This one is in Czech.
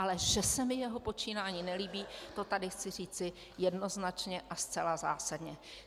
Ale že se mi jeho počínání nelíbí, to tady chci říci jednoznačně a zcela zásadně.